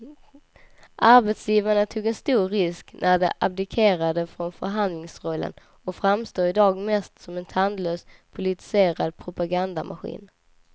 Arbetsgivarna tog en stor risk när de abdikerade från förhandlingsrollen och framstår i dag mest som en tandlös politiserad propagandamaskin.